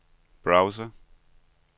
browser